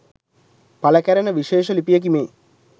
පළ කැරෙන විශේෂ ලිපියකි මේ.